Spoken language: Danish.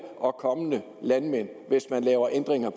og kommende landmænd hvis man laver ændringer